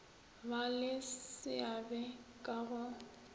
ba le seabe ka go